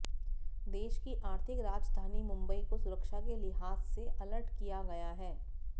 देश की आर्थिक राजधानी मुंबई को सुरक्षा के लिहाज से अलर्ट किया गया है